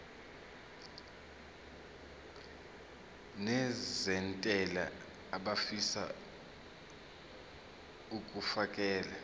nezentela abafisa uukfakela